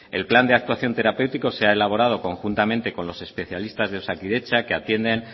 el plan de actuación terapéutico se ha elaborado conjuntamente con los especialistas de osakidetza que atienden